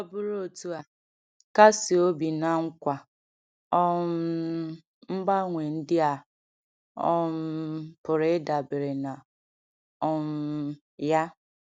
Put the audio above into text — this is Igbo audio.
Ọ bụrụ otu a, kasie obi na nkwa um mgbanwe ndị a um pụrụ ịdabere na um ya.